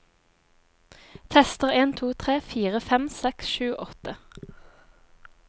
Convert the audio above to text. Tester en to tre fire fem seks sju åtte